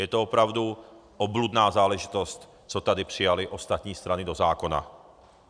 Je to opravdu obludná záležitost, co tady přijaly ostatní strany do zákona.